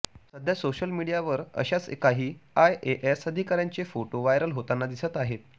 सध्या सोशल मीडियावर अशाच काही आयएएस अधिकाऱ्यांचे फोटो व्हायरल होताना दिसत आहेत